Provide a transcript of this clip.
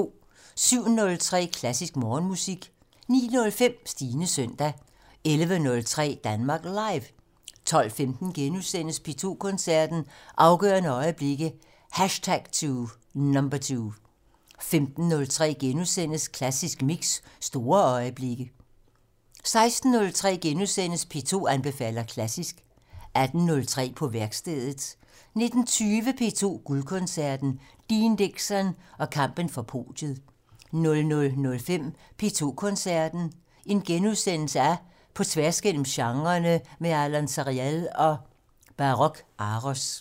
07:03: Klassisk Morgenmusik 09:05: Stines søndag 11:03: Danmark Live 12:15: P2 Koncerten - Afgørende øjeblikke #2 * 15:03: Klassisk Mix - Store øjeblikke * 16:03: P2 anbefaler klassisk * 18:03: På værkstedet 19:20: P2 Guldkoncerten - Dean Dixon og kampen for podiet 00:05: P2 Koncerten - På tværs af genrerne med Alon Sariel og Baroque Aros *